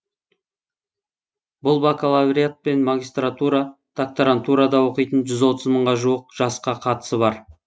бұл бакалавриат пен магистратура докторантурада оқитын жүз отыз мыңға жуық жасқа қатысы бар